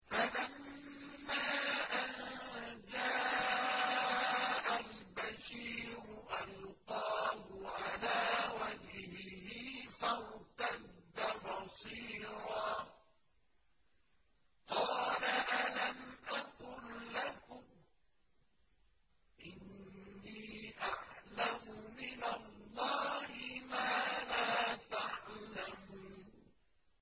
فَلَمَّا أَن جَاءَ الْبَشِيرُ أَلْقَاهُ عَلَىٰ وَجْهِهِ فَارْتَدَّ بَصِيرًا ۖ قَالَ أَلَمْ أَقُل لَّكُمْ إِنِّي أَعْلَمُ مِنَ اللَّهِ مَا لَا تَعْلَمُونَ